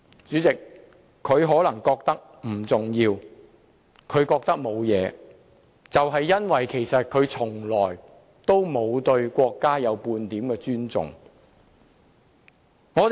主席，他可能認為不重要和沒有問題，正正因為他對國家從來沒有半點尊重。